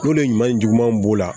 N'olu ɲuman jugumanw b'o la